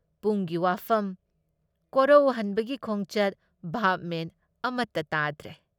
ꯄꯨꯡꯒꯤ ꯋꯥꯐꯝ, ꯀꯣꯔꯑꯣꯍꯟꯕꯒꯤ ꯈꯣꯡꯆꯠ ꯚꯥꯕ ꯃꯦꯟ ꯑꯃꯇ ꯇꯥꯗ꯭ꯔꯦ ꯫